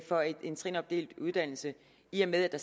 for en trinopdelt uddannelse i med at